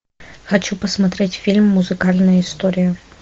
хочу посмотреть фильм музыкальная история